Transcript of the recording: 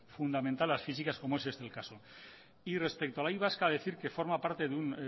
fundamental las físicas como es este el caso y respecto a la y vasca decir que forma parte de un